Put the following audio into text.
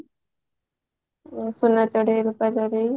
ସୁନା ଚଢେଇ ରୂପା ଚଢେଇ